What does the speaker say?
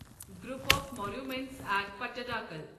group of monuments at Pattadakal